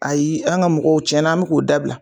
Ayi an ka mɔgɔw tiɲɛna an bɛ k'o dabila.